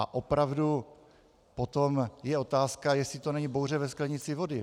A opravdu potom je otázka, jestli to není bouře ve sklenici vody.